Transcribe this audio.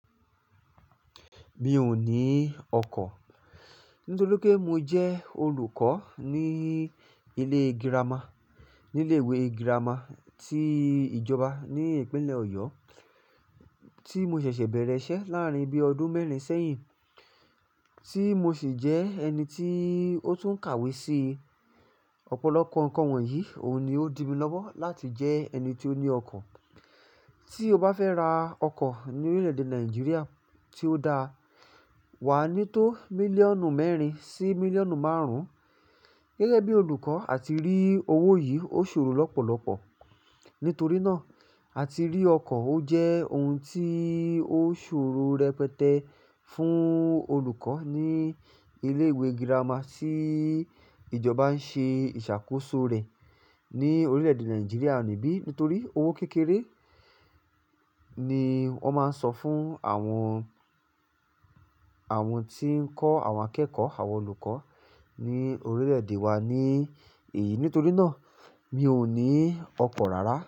Mi ò ní ọkọ̀. Ntorí pé mo jẹ́ olùkọ́ ní ilé girama, ní ilé ìwé girama tí ìjọba ní Ìpínlẹ̀ Ọ̀yọ́ tí mo ṣẹ̀ṣẹ̀ bẹ̀rẹ̀ iṣẹ́ láàárín bí i ọdún mẹ́rin sẹ́yìn, tí mo sì jẹ ẹni tí ó tún kàwé sí ọ̀pọ̀lọpọ̀ nǹkan wọ̀nyí, òun ni ó dí mi lọ́wọ́ láti jẹ ẹni tí ó ní ọkọ̀. Tí o bá fẹ́ ra ọkọ̀ ní orílè-èdè Nàìjíríà tí ó da, wà á ní tó mílíọ̀nù mẹ́rin sí mílíọ̀nù márùn-ún. Gẹ́gẹ́ bí olùkọ́ àti rí owó yìí ó ṣòro lọ́pọ̀lọpọ̀. Nítorí náà àti rí ọkọ̀ ó jẹ́ ohun tí ó ṣòro rẹpẹtẹ fún olùkọ́ ní ilé ìwé girama tí ìjọba ń ṣe ìṣàkóso rẹ̀ ní orílè-èdè Nàìjíríà níbí. Ntorí owó kékeré ni wọ́n máa ń sọ fún àwọn, àwọn tí ń kọ́ àwọn akẹ́kọ̀ọ́, àwa olùkọ́ ní orílè-èdè wa ní èyí. Nítorí náà mi ò ní ọkọ̀ rárá.